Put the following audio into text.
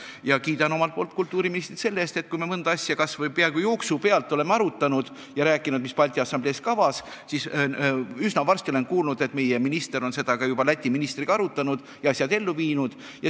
Ma kiidan omalt poolt kultuuriministrit selle eest, et kui me mõnda asja kas või vaat et jooksu pealt oleme arutanud ja rääkinud, mis Balti Assamblees kavas on, siis üsna varsti olen kuulnud, et meie minister on seda juba Läti ministriga arutanud ja asjad ellu viinud.